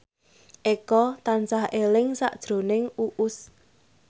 Eko tansah eling sakjroning Uus